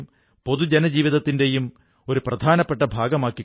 ഇത് ഒരു കാലത്ത് പാണ്ഡ്യ സാമ്രാജ്യത്തിന്റെ പ്രധാനപ്പെട്ട ഒരു കേന്ദ്രമായിരുന്നു